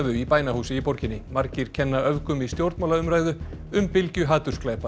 í bænahúsi í borginni margir kenna öfgum í stjórnmálaumræðu um bylgju